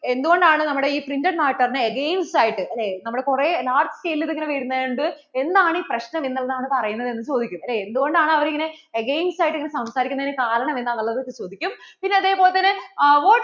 എന്തുകൊണ്ടാണ് നമ്മുടെ ഈ printed matter ന് against ആയിട്ട് അല്ലേ ഈ നമ്മള്‍ടെ കുറേ large scale ഇങ്ങനെ വരുന്നത് കൊണ്ട് എന്താണ് ഈ പ്രശ്നം എന്നുള്ളത് ആണ് പറയുന്നത് എന്ന് ചോദിക്കും അല്ലേ? എന്ത്‌ കൊണ്ടാണ് അവർ ഇങ്ങനെ against ആയിട്ട് ഇങ്ങനെ സംസാരിക്കുന്നതിനു കാരണം എന്താന്ന് ഉള്ളത് ചോദിക്കും പിന്നേ അതുപോലെ തന്നെ what